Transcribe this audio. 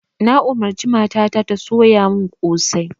Na umarci mata ta ta soya mun kosai